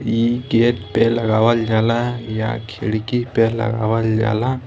इ केक पे लगावल जाला या खिड़की पे लगावल जाला।